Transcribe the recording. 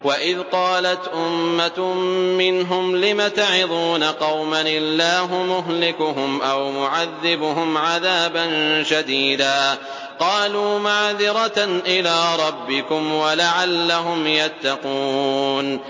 وَإِذْ قَالَتْ أُمَّةٌ مِّنْهُمْ لِمَ تَعِظُونَ قَوْمًا ۙ اللَّهُ مُهْلِكُهُمْ أَوْ مُعَذِّبُهُمْ عَذَابًا شَدِيدًا ۖ قَالُوا مَعْذِرَةً إِلَىٰ رَبِّكُمْ وَلَعَلَّهُمْ يَتَّقُونَ